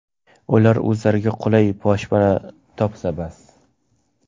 Ular o‘zlariga qulay boshpana topsa bas.